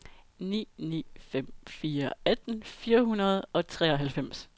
ni ni fem fire atten fire hundrede og treoghalvfems